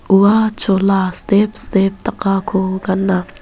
ua chola step step dakako gana.